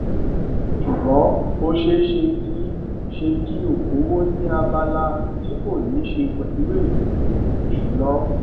ṣùgbọn ó ṣeé ṣe kí ṣe kí okòwò ni abala ti kò ní ṣe pẹlú ètò ìsúná